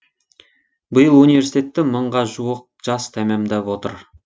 биыл университетті мыңға жуық жас тәмамдап отыр